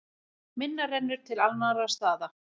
Minna rennur til annarra staða.